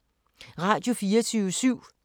Radio24syv